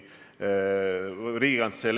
Me saime kõigest aru.